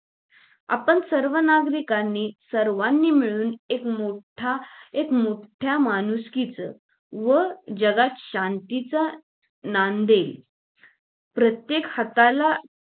आपण सर्व नागरिकांनी सर्वानी मिळून एक मोठा एक मोठ्या माणुसकीच व जगात शांतीचा नांदेल प्रत्येक हाताला